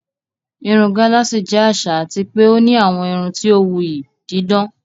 Irun gálààsì jẹ́ àṣà àti pé ó ní àwọn irun tí ó wuyì, dídán.